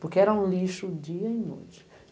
Porque era um lixo dia e noite.